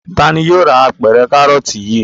Ta ni yóò ra apẹ̀rẹ̀ kárọ́tì yìí?